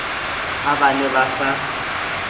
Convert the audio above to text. ha ba ne ba sa